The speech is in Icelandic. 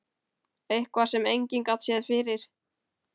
Eitthvað sem enginn gat séð fyrir.